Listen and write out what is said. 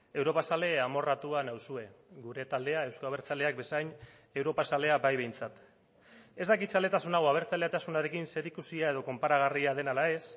europazale amorratua nauzue gure taldea euzko abertzaleak bezain europazalea bai behintzat ez dakit zaletasun hau abertzaletasunarekin zerikusia edo konparagarria den ala ez